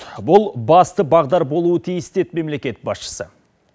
бұл басты бағдар болуы тиіс деді мемлекет басшысы